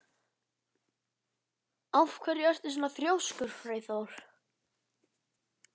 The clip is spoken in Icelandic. Af hverju ertu svona þrjóskur, Freyþór?